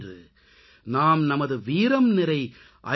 இன்று நாம் நமது வீரம்நிறை ஐ